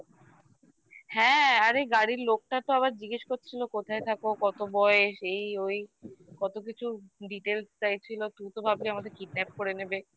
হ্যাঁ আরে গাড়ির লোকটা তো আবার জিজ্ঞেস করছিল কোথায় থাকো কত বয়স এই ওই কতকিছু details চাইছিলো তুই তো ভাবলি আমাদের kidnap করে নেবে